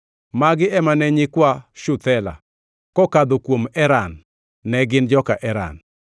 Magi ema ne nyikwa Shuthela: kokadho kuom Eran, ne gin joka Eran.